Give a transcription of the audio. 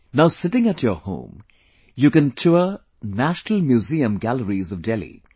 Now, sitting at your home, you can tour National Museum galleries of Delhi